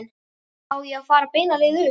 Á svo að fara beina leið upp?